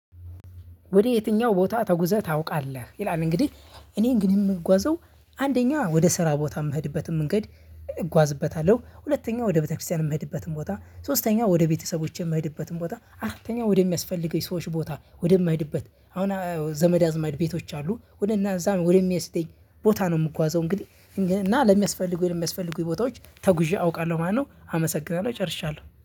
ወደ የትኛው ቦታ ተጉዘህ ታቃለህ? ይላል እንግዲህ እኔ ግን የምጓዘው አንደኛ ወደ ስራ ቦታ የምሄድበትን መንገድ። እጓዝበታለሁ ሁለተኛ ወደ ቤተክርስቲያን እምሄድበትን ቦታ ሶስተኛ ወደ ቤተሰቦቼ እምሄድበትን አራተኛ ወደሚያስፈልገኝ ሰዎች ቦታ ወደምሄድበት አሁን ዘመድ አዝማድ ቤቶች አሉ ወደ እና እዛ ወደሚወስደኝ ቦታ ነው የምጓዘው። እንግዲህ እና ለሚያስፈልጉኝ ለሚያስፈልጉኝ ቦታዎች ተጉዤ አውቃለሁ ማለት ነው። አመሰግናለሁ ጨርሻለሁ